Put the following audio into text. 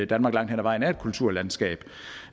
danmark langt hen ad vejen er et kulturlandskab